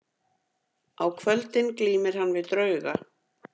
Á kvöldin glímir hann við drauga.